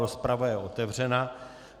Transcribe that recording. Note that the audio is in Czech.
Rozprava je otevřená.